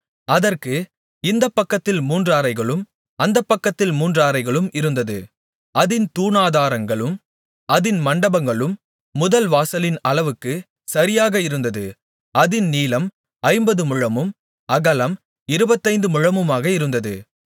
அதற்கு இந்த பக்கத்தில் மூன்று அறைகளும் அந்த பக்கத்தில் மூன்று அறைகளும் இருந்தது அதின் தூணாதாரங்களும் அதின் மண்டபங்களும் முதல் வாசலின் அளவுக்குச் சரியாக இருந்தது அதின் நீளம் ஐம்பது முழமும் அகலம் இருபத்தைந்து முழமுமாக இருந்தது